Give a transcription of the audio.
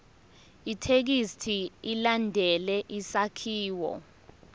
ithekisthi ilandele isakhiwo